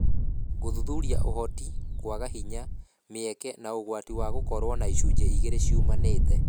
Gũthuthuria Ũhoti, kwaga hinya, mĩeke, na ũgwati gũkoragwo na icunjĩ igĩrĩ ciumanĩte.